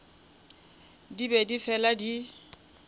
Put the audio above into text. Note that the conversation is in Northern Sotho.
di be di fela di